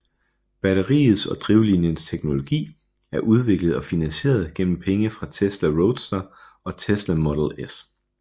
Batteriets og drivlinjens teknologi er udviklet og finansieret gennem penge fra Tesla Roadster og Tesla Model S